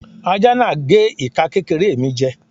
Aja náà gé ika kékéré mi jè